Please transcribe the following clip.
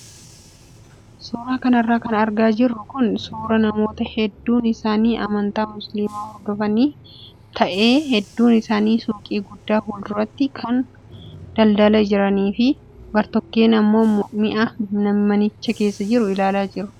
Suuraa kanarra kan argaa jirru kun suuraa namoota hedduun isaanii amantaa musliimaa hordofanii ta'ee hedduun isaanii suuqii guddaa fuulduratti kaan kan daldalaa jiranii fi gartokkeen immoo mi'a manicha keessa jiru ilaalaa jiru.